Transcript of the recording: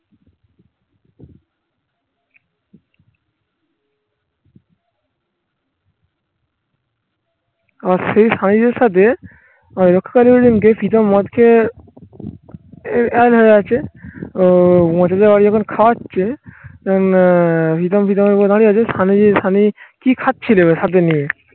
আর সেই